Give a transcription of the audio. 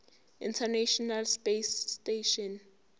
international space station